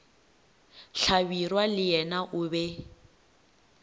hlabirwa le yena o be